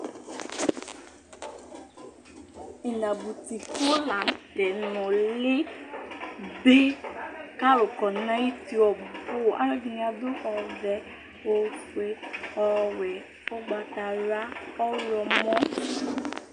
Inabʋti ku la ŋtɛ nulí ɖi kʋ alu kɔ ŋu ayuti ɔbu Alʋɛdìní aɖu ɔvɛ, ɔfʋe, ɔwɛ, ugbatawla, ɔlɔmɔ